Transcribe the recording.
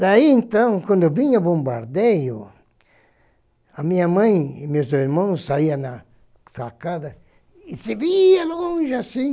Daí, então, quando vinha o bombardeio, a minha mãe e meus irmãos saíam na sacada e se via longe assim.